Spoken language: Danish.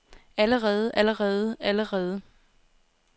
allerede allerede allerede